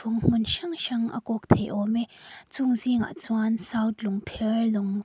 hmun hrang hrang a kawk thei awm e chung zingah chuan south lung.